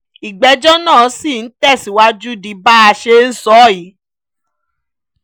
ìgbẹ́jọ́ náà ṣì ń tẹ̀síwájú di bá a ṣe ń sọ yìí